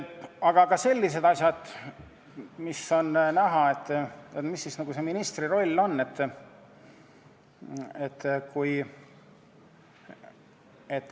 Aga ka sellised asjad, kust on näha, mis siis see ministri roll on.